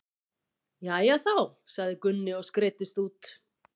Jæja þá, sagði Gunni og skreiddist út.